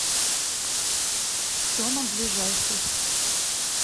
стома ближайший